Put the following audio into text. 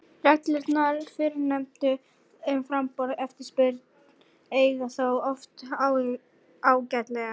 Reglurnar fyrrnefndu um framboð og eftirspurn eiga þó oft ágætlega við.